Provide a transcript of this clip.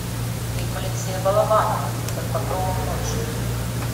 фильм алексея балабанова под покровом ночи